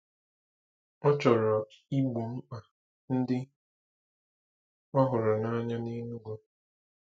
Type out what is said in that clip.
Ọ chọrọ igbo mkpa ndị ọ hụrụ n'anya n'Enugu.